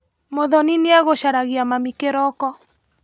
Muthoni nĩagũcaragia mami kĩroko.